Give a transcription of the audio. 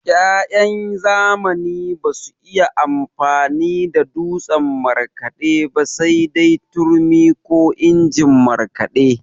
Ya'yan zamani basu iya amfani da dutsen markaɗe ba sai dai turmi ko injin markaɗe.